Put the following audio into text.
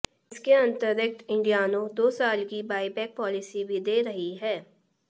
इसके अतिरिक्त इंडियानो दो साल की बाईबैक पॉलिसी भी दे रही है